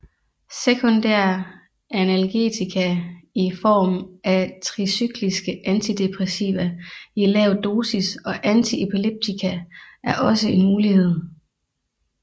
Sekundære analgetika i form af tricykliske antidepressiva i lav dosis og antiepileptika er også en mulighed